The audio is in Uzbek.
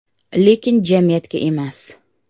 Lekin jamiyatga emas.